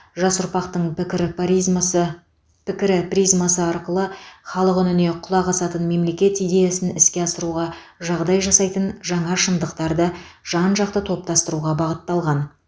жас ұрпақтың пікірі паризмасы пікірі призмасы арқылы халық үніне құлақ асатын мемлекет идеясын іске асыруға жағдай жасайтын жаңа шындықтарды жан жақты топтастыруға бағытталған